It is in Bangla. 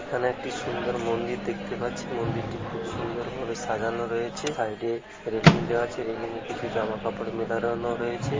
এখানে একটি সুন্দর মন্দির দেখতে পাচ্ছি মন্দিরটি খুব সুন্দর ভাবে সাজানো রয়েছে সাইড -এ রেলিং দেওয়া আছে রেলিং এ কিছু জামাকাপড় মেলালানো রয়েছে